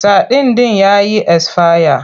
Sadin ɗin ya yi esfaya.